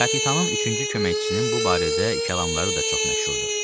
Kapitanın üçüncü köməkçisinin bu barədə kəlamları da çox məşhurdur.